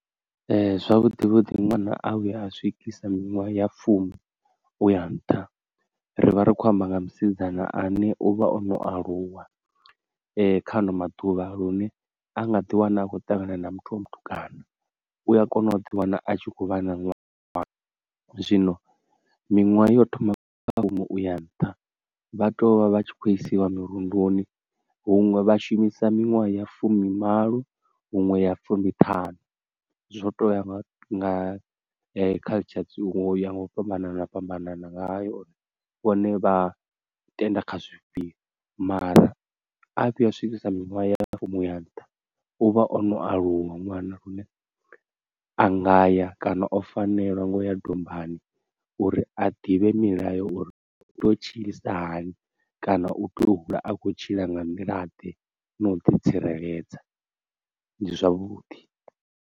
Ee zwavhuḓi vhuḓi ṅwana a vhuya a swikisa minwaha ya fumi uya nṱha, ri vha ri khou amba nga musidzana ane uvha ono aluwa kha ano maḓuvha lune a nga ḓi wana a khou ṱangana na muthu wa mutukana u a kona u ḓi wana a tshi khou vha na ṅwana. Zwino miṅwaha yo thoma kha fumi uya nṱha vha tea u vha vha tshi khou isiwa mirunduni huṅwe vhashumisa miṅwaha ya fumimalo huṅwe ya fumiṱhanu zwo to ya nga culture u ya nga u fhambanana fhambanana ngayo vhone vha tenda kha zwifhio. Mara a vhuya a swikisa miṅwaha ya fumi uya nntha u vha ono aluwa ṅwana lune a ngaya kana o fanela ngo ya dombani uri a ḓivhe milayo uri u to tshilisa hani kana u tea u hula a kho tshila nga nḓila ḓe na u ḓi tsireledza ndi zwavhuḓi.